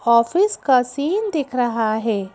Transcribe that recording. Office का scene दिख रहा है।